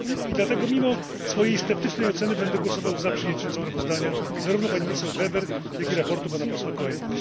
I dlatego mimo swojej sceptycznej oceny będę głosował za przyjęciem sprawozdania zarówno pani poseł Weber, jak i sprawozdania pana posła Coelho.